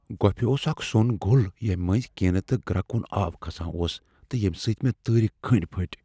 گوپھہِ اوس اكھ سو٘ن گوٚل ییمہِ منزۍ كٕنیہِ تہٕ گركوٗن آب كھسان اوس تہٕ ییمہِ سٲتۍ مے٘ تٲرِ کنڈی پھٹۍ۔